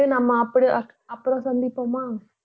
சரி நம்ம அப்புறம் சந்திப்போமா